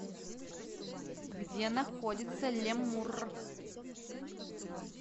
где находится лемурр